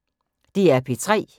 DR P3